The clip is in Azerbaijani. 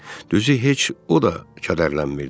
Düzü heç o da kədərlənmirdi.